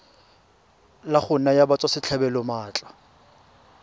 la go naya batswasetlhabelo maatla